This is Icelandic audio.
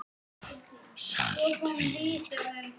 Saltvík